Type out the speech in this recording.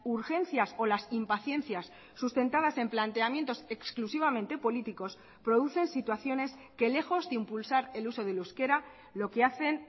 urgencias o las impaciencias sustentadas en planteamientos exclusivamente políticos producen situaciones que lejos de impulsar el uso del euskera lo que hacen